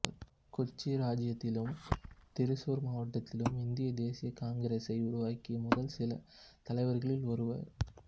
கொச்சி இராச்சியத்திலும் திருச்சூர் மாவட்டத்திலும் இந்திய தேசிய காங்கிரசை உருவாக்கிய முதல் சில தலைவர்களில் ஒருவர்